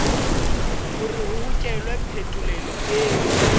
hore ho hokelwe phetolelo e